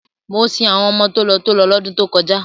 Mo sin àwọn ọmọ tòló-tòló lọ́dún tó kọjá.